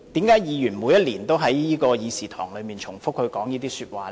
為何議員每年都在這議事堂重複這些說話呢？